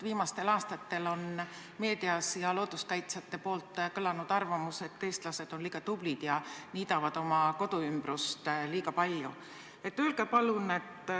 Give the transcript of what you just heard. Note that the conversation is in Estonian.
Viimastel aastatel on meedias kõlanud looduskaitsjate arvamused, et eestlased on liiga tublid ja niidavad oma koduümbrust liiga palju.